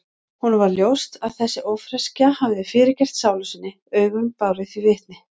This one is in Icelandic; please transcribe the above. Honum varð ljóst að þessi ófreskja hafði fyrirgert sálu sinni, augun báru því vitni.